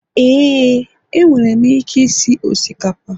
Éè, enwere m ike isi osikapa